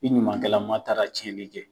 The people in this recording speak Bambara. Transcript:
I ɲumankɛlama taara tiɲɛnni kɛ.